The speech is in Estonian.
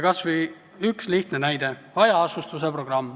Kas või üks lihtne näide: hajaasustuse programm.